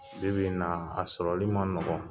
Bi bi in na a sɔrɔli ma nɔgɔn